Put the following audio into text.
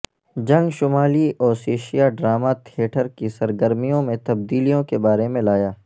جنگ شمالی Ossetia drama theatre کی سرگرمیوں میں تبدیلیوں کے بارے میں لایا